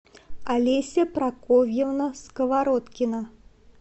олеся прокофьевна сковородкина